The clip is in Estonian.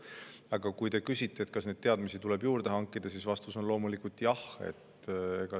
Aga kui te küsite, kas neid teadmisi tuleb juurde hankida, siis vastus on loomulikult jah.